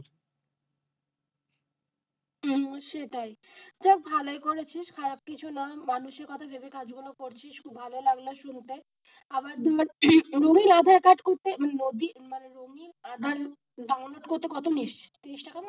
হুম সেটাই দেখ ভালই করেছিস খারাপ কিছু না মানুষের কথা ভেবে কাজগুলোও করছিস খুব ভালো লাগলো শুনেতে আবার রঙ্গিন আধার কার্ড করতে রঙ্গিন মানে রঙিন আধারকার্ড ডাউনলোড করতে কত নিস্? তিরিশ টাকা না,